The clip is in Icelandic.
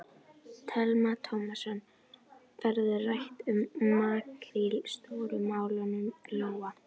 Telma Tómasson: Verður rætt um makríl Stóru málunum, Lóa?